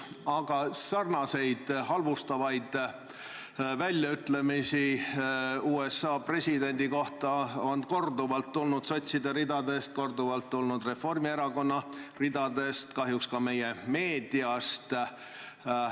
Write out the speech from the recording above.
Aga sarnaseid halvustavaid väljaütlemisi USA presidendi kohta on korduvalt tulnud sotside ridadest, neid on korduvalt tulnud Reformierakonna ridadest ja kahjuks ka meie meediast.